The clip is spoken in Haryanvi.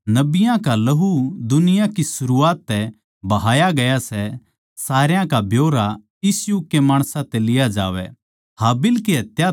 ताके जित नबियाँ का लहू दुनिया की सरूआत तै बहाया गया सै सारया का ब्यौरा इस युग के माणसां तै लिया जावै